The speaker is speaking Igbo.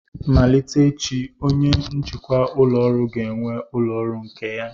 Malite echi, onye njikwa ụlọ ọrụ ga-enwe ụlọ ọrụ nke ya